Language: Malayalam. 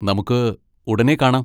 നമുക്ക് ഉടനെ കാണാം!